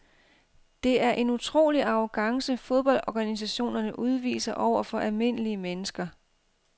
Det er en utrolig arrogance fodboldorganisationerne udviser over for almindelige mennesker.